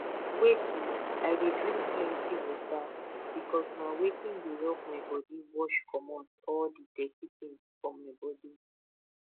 wait oh i dey drink plenty water because na watin dey help my body wash comot all the dirty things for my body